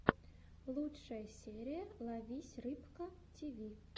лучшая серия ловись рыбка тиви